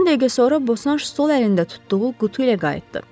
On dəqiqə sonra Bosanş sol əlində tutduğu qutu ilə qayıtdı.